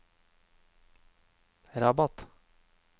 Rabat